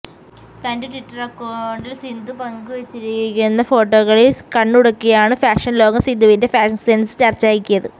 തന്റെ ട്വിറ്റർ അക്കൌണ്ടിൽ സിന്ധു പങ്കു വച്ചിരിക്കുന്ന ഫോട്ടോകളിൽ കണ്ണുടക്കിയാണ് ഫാഷൻലോകം സിന്ധുവിന്റെ ഫാഷൻ സെൻസ് ചർച്ചയാക്കിയത്